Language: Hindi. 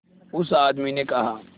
उस आदमी ने कहा